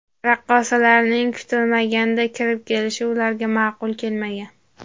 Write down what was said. Raqqosalarning kutilmaganda kirib kelishi ularga ma’qul kelmagan.